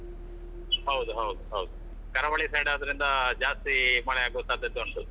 ಹೌದು ಹೌದು ಹೌದು ಕರಾವಳಿ side ಆದ್ರಿಂದ ಜಾಸ್ತಿ ಮಳೆ ಆಗುವ ಸಾಧ್ಯತೆ ಉಂಟು.